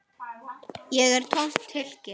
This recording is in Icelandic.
Ég er tómt hylki.